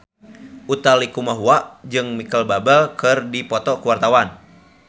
Utha Likumahua jeung Micheal Bubble keur dipoto ku wartawan